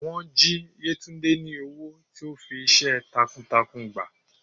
wọn jí yetúnde ni ọwọ tí o fí iṣẹ takuǹtakuǹ gbá